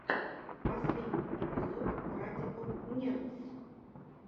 последний эпизод радикал нердс